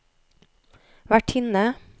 vertinne